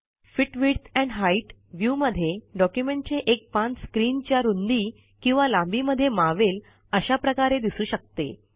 fit width and height view मध्ये डॉक्युमेंटचे एक पान स्क्रीनच्या रूंदी किंवा लांबी मध्ये मावेल अशा प्रकारे दिसू शकते